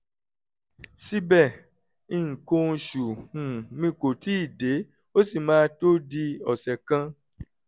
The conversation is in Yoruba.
síbẹ̀ nǹkan oṣù um mi kò tíì dé ó sì máa tó di ọ̀sẹ̀ kan